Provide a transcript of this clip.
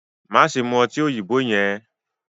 maṣe mú ọtí òyìnbó yẹn!